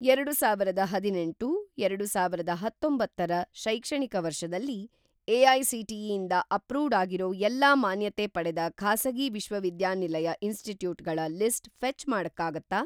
ಎರಡುಸಾವಿರದ ಹದಿನೆಂಟು - ಎರಡುಸಾವಿರದ ಹತ್ತೊಂಬತ್ತರ ಶೈಕ್ಷಣಿಕ ವರ್ಷದಲ್ಲಿ, ಎ.ಐ.ಸಿ.ಟಿ.ಇ. ಇಂದ ಅಪ್ರೂವ್ಡ್‌ ಆಗಿರೋ ಎಲ್ಲಾ ಮಾನ್ಯತೆ ಪಡೆದ ಖಾಸಗಿ ವಿಶ್ವವಿದ್ಯಾನಿಲಯ ಇನ್‌ಸ್ಟಿಟ್ಯೂಟ್‌ಗಳ ಲಿಸ್ಟ್ ಫೆ಼ಚ್‌ ಮಾಡಕ್ಕಾಗತ್ತಾ?